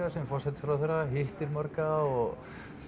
sem forsætisráðherra hittir marga og